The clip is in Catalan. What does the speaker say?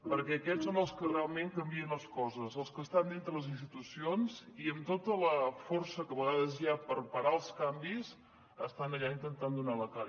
perquè aquests són els que realment canvien les coses els que estan dintre de les institucions i amb tota la força que a vegades hi ha per parar els canvis estan allà intentant donar la cara